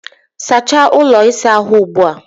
Sachaa ụlọ ịsa ahụ ugbu a!